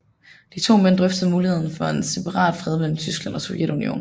De to mænd drøftede muligheden for en separatfred mellem Tyskland og Sovjetunionen